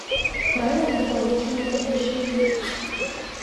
правила дополнительного размещения